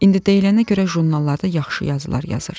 İndi deyilənə görə jurnallarda yaxşı yazılar yazır.